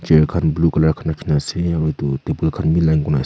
chair khan blue colour khan rakhi kini ase aru etu table khan bhi legi bone ase.